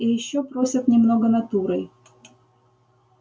и ещё просят немного натурой